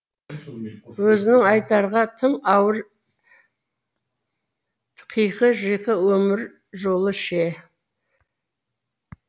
өзінің айтарға тым ауыр қиқы жиқы өмір жолы ше